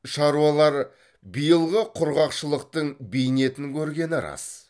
шаруалар биылғы құрғақшылықтың бейнетін көргені рас